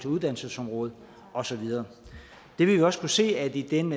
uddannelsesområdet og så videre vi vil også kunne se at i den